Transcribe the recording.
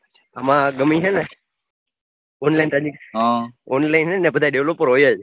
આમાં ગમે હે ને online online હે ને બધા developer હોય જ